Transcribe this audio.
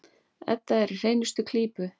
Edda er í hreinustu klípu.